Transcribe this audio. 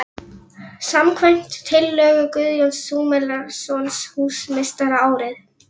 . samkvæmt tillögu Guðjóns Samúelssonar húsameistara árið